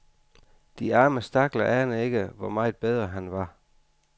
De arme stakler aner ikke, hvor meget bedre han var.